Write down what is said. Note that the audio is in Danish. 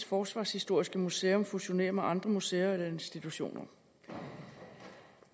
forsvarshistoriske museum fusionere med andre museer eller institutioner